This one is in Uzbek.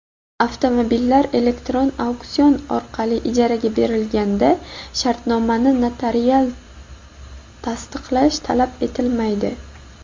avtomobillar elektron auksion orqali ijaraga berilganda shartnomani notarial tasdiqlash talab etilmaydi.